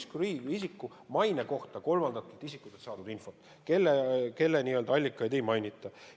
See on Louis Freeh' isiku mainet puudutav kolmandatelt isikutelt saadud info, kusjuures n-ö allikaid ei mainita.